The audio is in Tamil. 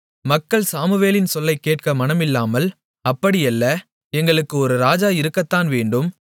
மக்கள் சாமுவேலின் சொல்லைக் கேட்க மனம் இல்லாமல் அப்படியல்ல எங்களுக்கு ஒரு ராஜா இருக்கத்தான் வேண்டும்